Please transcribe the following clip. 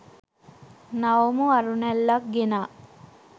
නවමු අරුණැල්ලක් ගෙනා